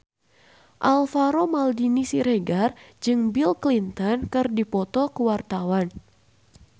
Alvaro Maldini Siregar jeung Bill Clinton keur dipoto ku wartawan